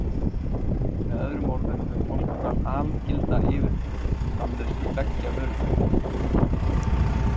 Með öðrum orðum hefur Portúgal algilda yfirburði í framleiðslu beggja vörutegunda.